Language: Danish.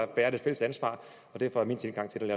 bærer det fælles ansvar og derfor er min tilgang til